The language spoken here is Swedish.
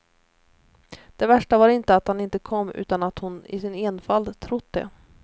Det värsta var inte att han inte kom utan att hon i sin enfald trott det.